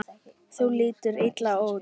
Þú lítur illa út